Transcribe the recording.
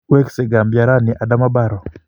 Wekse Gambia rani Adama Barrow